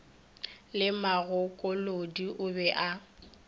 le magokolodi o be a